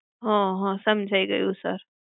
હમ હમ સમજાય ગયું sir.